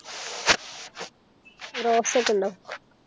Rose ഒക്കെ ഉണ്ടോ